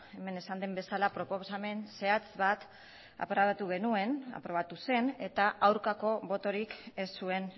hemen esan den bezala proposamen zehatz bat aprobatu genuen aprobatu zen eta aurkako botorik ez zuen